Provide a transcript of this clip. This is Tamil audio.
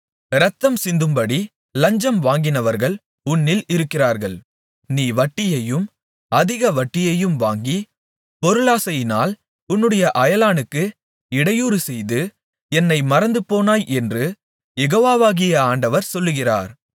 இரத்தம்சிந்தும்படி லஞ்சம் வாங்கினவர்கள் உன்னில் இருக்கிறார்கள் நீ வட்டியையும் அதிக வட்டியும் வாங்கி பொருளாசையினால் உன்னுடைய அயலானுக்கு இடையூறு செய்து என்னை மறந்துபோனாய் என்று யெகோவாகிய ஆண்டவர் சொல்லுகிறார்